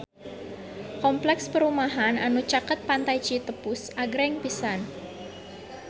Kompleks perumahan anu caket Pantai Citepus agreng pisan